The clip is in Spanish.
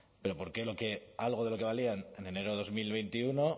pero por qué algo de lo que valían en enero de dos mil veintiuno